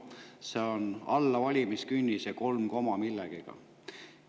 See on alla valimiskünnise, kolm koma millegagi.